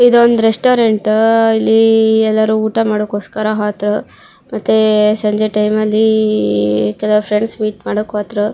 ಇದೊಂದು ರೆಸ್ಟೋರೆಂಟ್ ಇಲ್ಲಿ ಎಲ್ಲಾರು ಊಟ ಮಾಡಕೋಸ್ಕರ ಹೋತೃ ಮತ್ತೆ ಸಂಜೆ ಟೈಮ್ ಅಲ್ಲಿ ಇತರ ಫ್ರೆಂಡ್ಸ್ ಮೀಟ್ ಮಾಡಕ್ ಹೋತೃ.